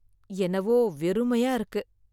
என்னவோ வெறுமையா இருக்கு.